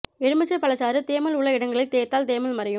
எலுமிச்சை பழச்சாறு தேமல் உள்ள இடங்களில் தேய்த்தால் தேமல் மறையும்